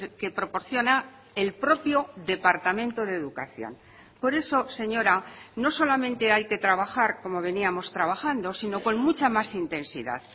que proporciona el propio departamento de educación por eso señora no solamente hay que trabajar como veníamos trabajando sino con mucha más intensidad